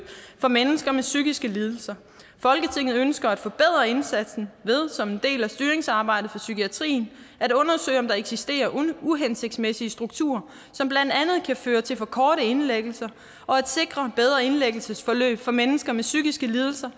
for mennesker med psykiske lidelser folketinget ønsker at forbedre indsatsen ved som en del af styringsarbejdet for psykiatrien at undersøge om der eksisterer uhensigtsmæssige strukturer som blandt andet kan føre til for korte indlæggelser og at sikre bedre indlæggelsesforløb for mennesker med psykiske lidelser